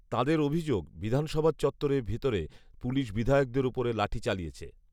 তাঁদের অভিযোগ বিধানসভার চত্বরের ভিতরে পুলিশ বিধায়কদের উপরে লাঠি চালিয়েছে